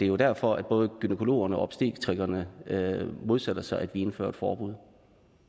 jo derfor både gynækologerne og obstetrikerne modsætter sig at indføre et forbud